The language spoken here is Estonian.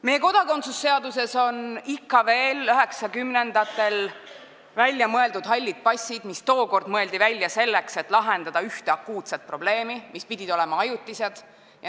Meie kodakondsuse seaduses on ikka veel 1990-ndatel välja mõeldud hallid passid, mis mõeldi tookord välja selleks, et lahendada ühte akuutset probleemi, ja mis pidid olema ajutised.